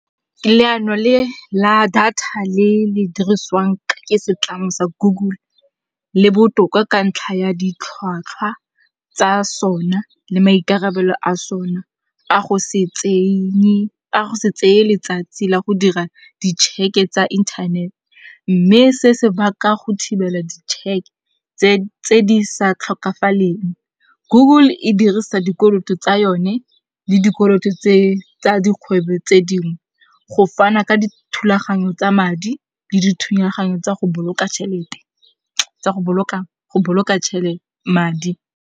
Leano le la data le le diriswang ke setlamo sa Google le botoka ka ntlha ya ditlhwatlhwa tsa sona le maikarabelo a sona a go se tseye letsatsi la go dira di check-e tsa internet. Mme se se baka go thibela di check tse di sa tlhokafaleng. Google e dirisa dikoloto tsa yone le dikoloto tse tsa dikgwebo tse dingwe go fana ka dithulaganyo tsa madi le dithulaganyo tsa go boloka tšhelete, tsa go boloka madi.